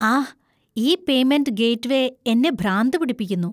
ആഹ്, ഈ payment gateway എന്നെ ഭ്രാന്ത് പിടിപ്പിക്കുന്നു.